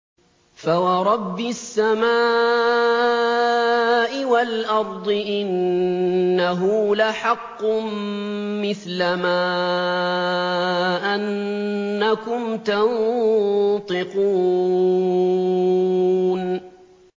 فَوَرَبِّ السَّمَاءِ وَالْأَرْضِ إِنَّهُ لَحَقٌّ مِّثْلَ مَا أَنَّكُمْ تَنطِقُونَ